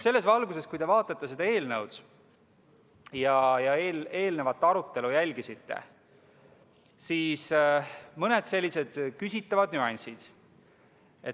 Selles valguses, kui te vaatate seda eelnõu ja olete jälginud eelnevat arutelu, on siin mõned küsitavad nüansid.